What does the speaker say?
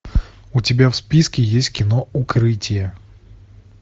у тебя в списке есть кино укрытие